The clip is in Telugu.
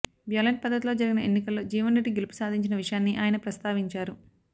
బ్యాలెట్ పద్దతిలో జరిగిన ఎన్నికల్లో జీవన్ రెడ్గి గెలుపు సాధించిన విషయాన్ని ఆయన ప్రస్తావించారు